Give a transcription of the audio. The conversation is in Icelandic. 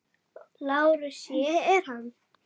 LÁRUS: Ég er hann.